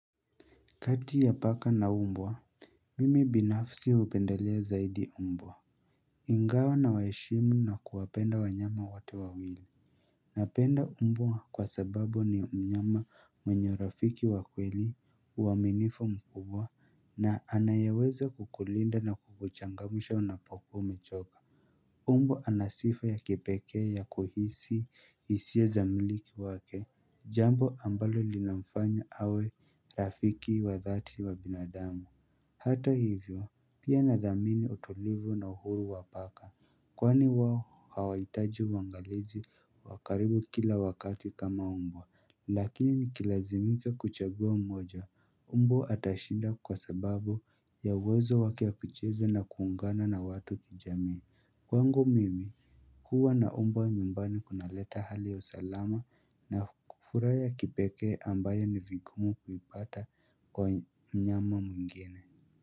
Kati ya paka na umbwa Mimi binafsi hupendelea zaidi umbwa Ingawa na waheshimu na kuwapenda wanyama wote wawili Napenda umbwa kwa sababu ni mnyama mwenye rafiki wa kweli uaminifu mkubwa na anayeweza kukulinda na kukuchangamsha unapokuwa umechoka umbwa ana sifa ya kipekee ya kuhisi hisia za mmiliki wake Jambo ambalo linamfanya awe rafiki wa dhati wa binadamu Hata hivyo pia nadhamini utulivu na uhuru wa paka Kwani wao hawaihitaji uangalizi wa karibu kila wakati kama mbwa Lakini nikilazimika kuchagua mmoja mbwa atashinda kwa sababu ya uwezo wake ya kucheza na kuungana na watu kijamii Kwangu mimi huwa na mbwa nyumbani kunaleta hali ya usalama na furaha ya kipekee ambayo ni vigumu kuipata kwa mnyama mwingine.